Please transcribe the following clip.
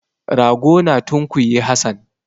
Rago na tunkuyi Hassan.